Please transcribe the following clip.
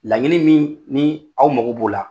Laɲini min ni aw mago b'o la